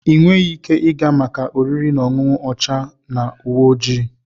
Ị nweghị ike ịga maka oriri na ọṅụṅụ ọcha na uwe ojii.